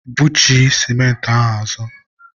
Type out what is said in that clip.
bughachi sịmentị a azụ!